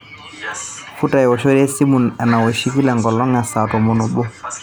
futa ewoshore esimu enoshi ekila enkolong e saa tomon obo